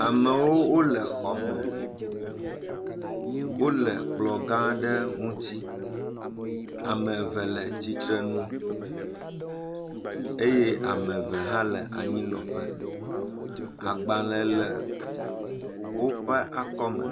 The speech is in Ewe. Amewo le xɔme. Wole kplɔ̃ gã aɖe ŋuti. Ame eve le tsitre nu eye ame eve hã le anyinɔƒe. Agbalẽ le woƒe akɔme.